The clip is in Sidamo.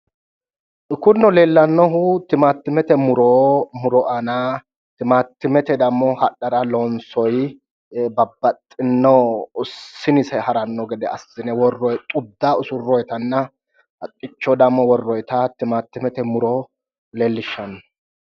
Kunino leellannohu timaaattimete muro aana timaattimete dammo hadhara loonsoyi babbaxxinno sinise haranno gede assine worroyi xudda usurroyitanna haqqicho dammo worroyita timaattimete muro leellishshanno.